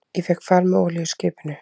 Ég fékk far með olíuskipinu